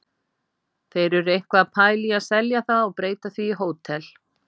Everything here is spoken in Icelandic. Þeir eru eitthvað að pæla í að selja það og breyta því í hótel.